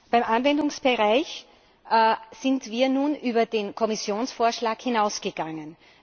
Beim Anwendungsbereich sind wir nun über den Kommissionsvorschlag hinausgegangen.